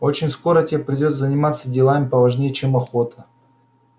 очень скоро те придётся заниматься делами поважнее чем охота